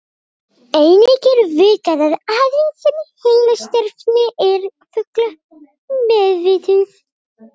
einnig er vitað að aðeins sum heilastarfsemi er að fullu meðvituð